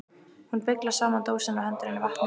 Hún beyglar saman dósina og hendir henni í vatnið.